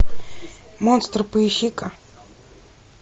монстр поищи ка